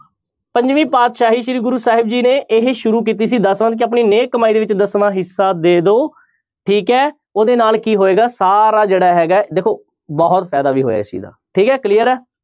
ਪੰਜਵੀਂ ਪਾਤਿਸ਼ਾਹੀ ਸ੍ਰੀ ਗੁਰੂ ਸਾਹਿਬ ਜੀ ਨੇ ਇਹੀ ਸ਼ੁਰੂ ਕੀਤੀ ਸੀ ਦਸਵੰਧ ਕਿ ਆਪਣੀ ਨੇਕ ਕਮਾਈ ਦੇ ਵਿੱਚੋਂ ਦਸਵਾਂ ਹਿੱਸਾ ਦੇ ਦਓ ਠੀਕ ਹੈ ਉਹਦੇ ਨਾਲ ਕੀ ਹੋਏਗਾ ਸਾਰਾ ਜਿਹੜਾ ਹੈਗਾ ਹੈ ਦੇਖੋ ਬਹੁਤ ਫ਼ਾਇਦਾ ਵੀ ਹੋਇਆ ਇਸ ਚੀਜ਼ ਦਾ, ਠੀਕ ਹੈ clear ਹੈ।